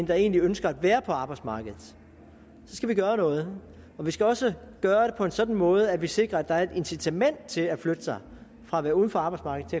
der egentlig ønsker at være på arbejdsmarkedet så skal vi gøre noget vi skal også gøre det på en sådan måde at vi sikrer at der er et incitament til at flytte sig fra at være uden for arbejdsmarkedet